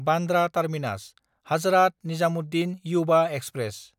Bandra टार्मिनास–हाजरात Nizamuddin Yuva express